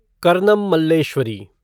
Karnam Malleswari